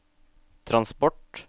transport